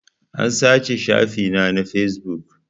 An sace shafi na na fesbuk